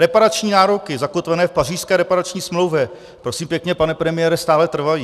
Reparační nároky zakotvené v Pařížské reparační smlouvě, prosím pěkně, pane premiére, stále trvají.